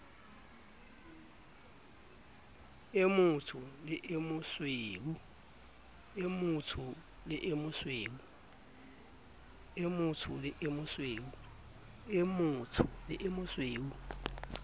o motsho le o mosweu